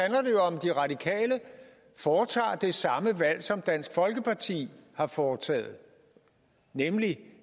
de radikale foretager det samme valg som dansk folkeparti har foretaget nemlig